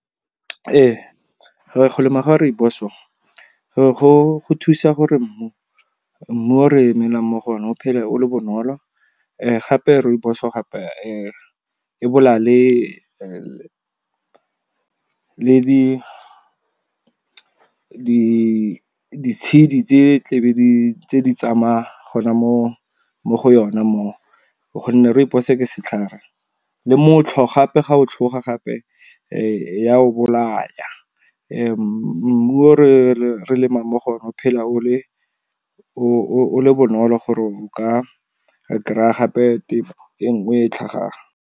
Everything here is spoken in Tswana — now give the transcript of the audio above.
Go lema ga rooibos go thusa gore mmu o re melang mo go o ne, o phele o le bonolo. Gape rooibos o gape e bolaya le ditshedi tse tla be di tsamaya gona mo go yona mo o gonne rooibos ke setlhare. Le motlhwa gape ga o tlhoga gape ya o bolaya. Mmu o re lemang mo go o ne o phela o le bonolo gore o ka kry-a gape tefo e nngwe e e tlhagang.